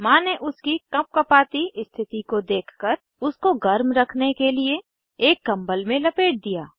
माँ ने उसकी कँपकँपाती स्थिति को देखकर उसको गर्म रखने के लिए एक कम्बल में लपेट दिया